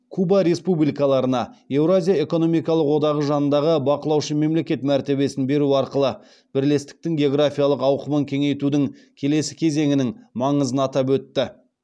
куба республикаларына еуразия экономикалық одағы жанындағы бақылаушы мемлекет мәртебесін беру арқылы бірлестіктің географиялық ауқымын кеңейтудің келесі кезеңінің маңызын атап өтті